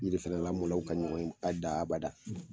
Yiri fɛɛrɛ lamɔnaw ka ɲɔgɔn ye bada abada.